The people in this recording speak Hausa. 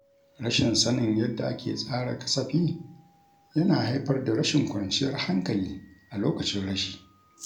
Rashin sanin yadda ake tsara kasafi yana haifar da rashin kwanciyar hankali a lokacin rashi.